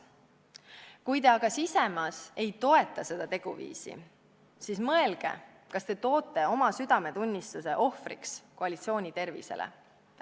Kui te aga sisimas ei toeta seda teguviisi, siis mõelge, kas te ikka toote oma südametunnistuse ohvriks koalitsiooni tervisele!